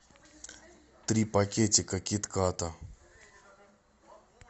три пакетика кит ката